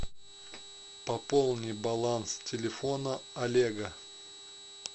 пополни баланс телефона олега